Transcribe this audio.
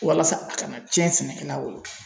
Walasa a kana cɛn sɛnɛkɛla bolo